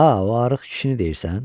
A, o arıq kişini deyirsən?